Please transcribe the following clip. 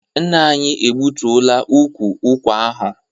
Nna anyị egbutuola ukwu ụkwa ahụ.